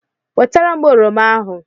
Wetara m oroma ahụ.